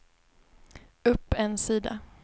upp en sida